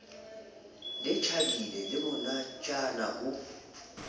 le tjhabile le monatjana ho